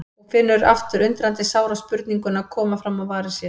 Og finnur aftur undrandi sára spurninguna koma fram á varir sér